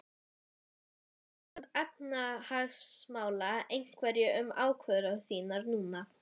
Ræður ástand efnahagsmála einhverju um ákvörðun þína núna?